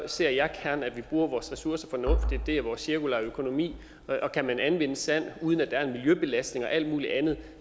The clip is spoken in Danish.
ser jeg gerne at vi bruger vores ressourcer fornuftigt det er vores cirkulære økonomi og kan man anvende sand uden at der er en miljøbelastning og alt mulig andet